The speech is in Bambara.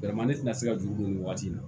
ne tɛna se ka juru don nin waati in na